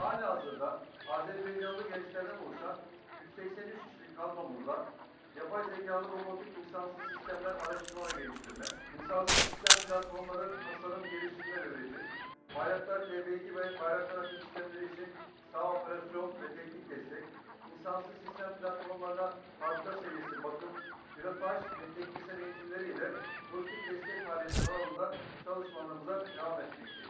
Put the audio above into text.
Hal-hazırda Azərbayqanlı gənclərdən oluşan 183 kişilik kadromuzda yapay zekalı robotik insansız sistemlər araşdırma və gəlişdirmə, insansız sistem platformları, tasarım, gəlişdirmə və üretim, Bayraktar TB2 ve Bayraktar Akıncı sistemləri üçün saha operasyon ve teknik destek, insansız sistem platformlarına fabrika seviyesi bakım, pilotaj ve teknisyen eğitimleri ile lojistik destek faaliyetleri alanında çalışmalarımıza devam etmekteyiz.